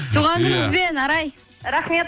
туған күніңізбен арай рахмет